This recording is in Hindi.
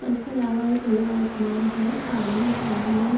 उसके अलावा खुला आसमान है आने जाने --